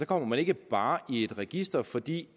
kommer man ikke bare i et register fordi